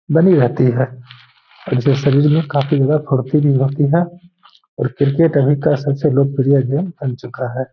बनी रहती है। और इससे काफी ज्यादा शरीर में फुर्ती भी होती है और क्रिकेट अभी का सबसे लोकप्रिय गेम बन चुका है। .